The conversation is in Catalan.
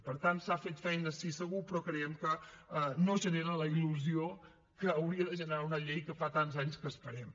per tant s’ha fet feina sí segur però creiem que no genera la il·lusió que hauria de generar una llei que fa tants anys que esperem